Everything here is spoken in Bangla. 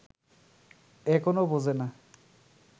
এখনো বোঝে না